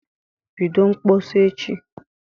Bido mkpọsa echi